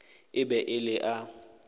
e be e le a